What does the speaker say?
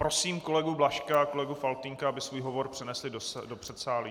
Prosím kolegu Blažka a kolegu Faltýnka, aby svůj hovor přenesli do předsálí.